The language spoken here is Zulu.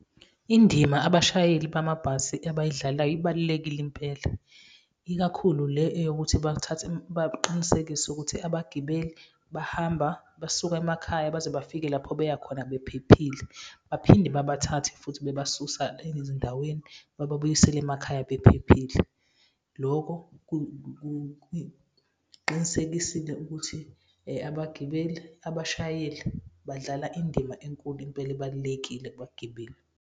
Indima abashayeli bamabhasi ebayidlalayo ibalulekile impela, ikakhulu le eyokuthi baqinisekise ukuthi abagibeli, bahamba basuka emakhaya baze bafike lapho beya khona bephephile. Baphinde babathathe futhi bebasusa ezindaweni, bababuyisele emakhaya bephephile. Loko kuqinisekisile ukuthi abagibeli, abashayeli badlala indima enkulu impela ebalulekile kubagibeli.